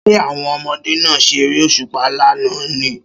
Ṣé àwọn ọmọdé náà ṣeré òṣùpá lánàá ni?